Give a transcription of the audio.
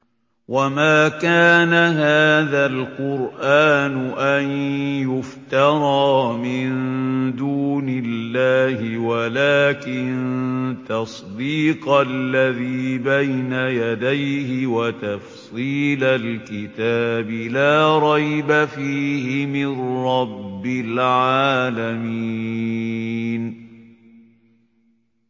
وَمَا كَانَ هَٰذَا الْقُرْآنُ أَن يُفْتَرَىٰ مِن دُونِ اللَّهِ وَلَٰكِن تَصْدِيقَ الَّذِي بَيْنَ يَدَيْهِ وَتَفْصِيلَ الْكِتَابِ لَا رَيْبَ فِيهِ مِن رَّبِّ الْعَالَمِينَ